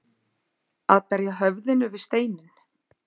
Að berja höfðinu við steininn